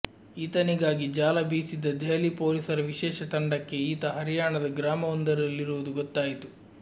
ಈತನಿಗಾಗಿ ಜಾಲ ಬೀಸಿದ್ದ ದೆಹಲಿ ಪೊಲೀಸರ ವಿಶೇಷ ತಂಡಕ್ಕೆ ಈತ ಹರ್ಯಾಣದ ಗ್ರಾಮವೊಂದರಲ್ಲಿರುವುದು ಗೊತ್ತಾಯಿತು